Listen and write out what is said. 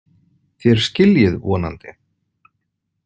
Þér skiljið vonandi.